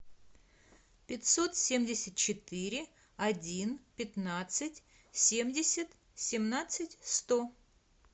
пятьсот семьдесят четыре один пятнадцать семьдесят семнадцать сто